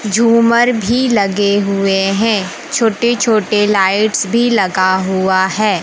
झूमर भी लगे हुए हैं छोटे छोटे लाइट्स भी लगा हुआ है।